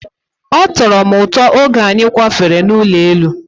Ọ tọrọ m ụtọ oge anyị kwafere n'ụlọ elu.